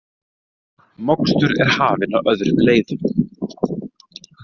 Mokstur er hafin á öðrum leiðum